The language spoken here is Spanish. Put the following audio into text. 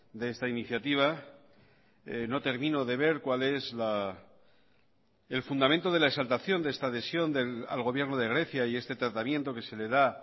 de esta iniciativa no termino de ver cuál es el fundamento de la exaltación de esta adhesión al gobierno de grecia y este tratamiento que se le da